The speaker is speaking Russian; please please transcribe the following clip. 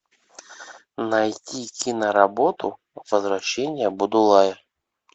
найти киноработу возвращение будулая